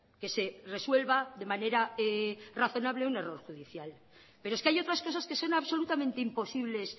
que se resuelva de manera razonable un error judicial pero es que hay otras cosas que son absolutamente imposibles